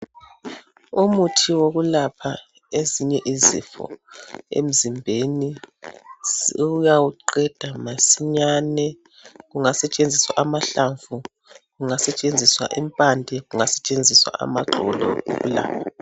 Umuthi wokulapha ezinye izifo emzimbeni uyawuqeda masinyane ,kungasetshenziswa amahlamvu, kungasetshenziswa impande, kungasetshenziswa axolo ukulapha